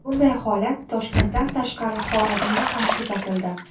Bunday holat Toshkentdan tashqari Xorazmda ham kuzatildi .